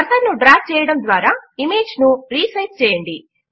cursor ను drag చేయడము ద్వారా ఇమేజ్ ను రీసైజ్ చేయండి